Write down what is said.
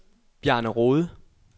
Bjarne Rohde